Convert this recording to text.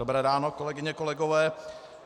Dobré ráno, kolegyně, kolegové.